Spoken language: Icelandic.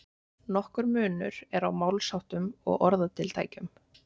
nokkur munur er á málsháttum og orðatiltækjum